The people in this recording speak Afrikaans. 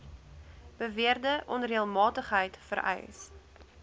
beweerde onreëlmatigheid vereis